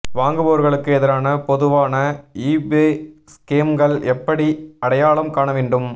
வாங்குபவர்களுக்கு எதிரான பொதுவான ஈபே ஸ்கேம்கள் எப்படி அடையாளம் காண வேண்டும்